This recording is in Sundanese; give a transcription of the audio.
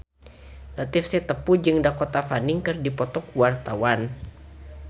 Latief Sitepu jeung Dakota Fanning keur dipoto ku wartawan